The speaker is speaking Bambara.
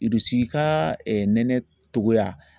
Irisi ka nɛnɛ cogoya